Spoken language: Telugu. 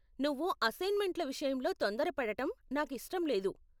నువ్వు అస్సైన్మెంట్ల విషయంలో తొందర పడటం నాకు ఇష్టం లేదు.